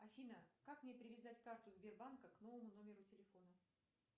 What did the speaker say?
афина как мне привязать карту сбербанка к новому номеру телефона